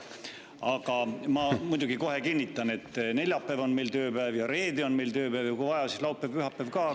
Aga ma muidugi kohe kinnitan, et neljapäev on meil tööpäev ja reede on meil tööpäev ja kui vaja, siis laupäev-pühapäev ka.